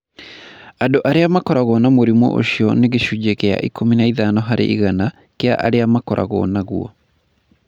Andũ arĩa makoragwo na mũrimũ ũcio nĩ gĩcunjĩ kĩa 15 harĩ igana kĩa arĩa makoragwo naguo.